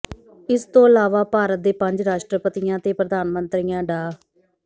ਇਸ ਤੋਂ ਇਲਾਵਾ ਭਾਰਤ ਦੇ ਪੰਜ ਰਾਸ਼ਟਰਪਤੀਆਂ ਤੇ ਪ੍ਰਧਾਨ ਮੰਤਰੀਆਂ ਡਾ